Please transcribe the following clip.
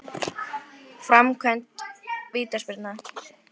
Framkvæmd vítaspyrna?